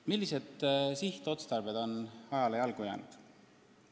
Millised sihtotstarbed on ajale jalgu jäänud?